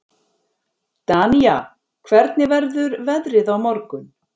Danía, hvernig verður veðrið á morgun?